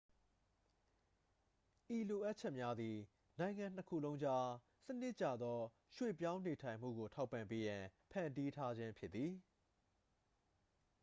ဤလိုအပ်ချက်များသည် နိုင်ငံနှစ်ခုလုံးကြား စနစ်ကျသော ရွှေ့ပြောင်းနေထိုင်မှုကို ထောက်ပံ့ပေးရန် ဖန်တီးထားခြင်းဖြစ်သည်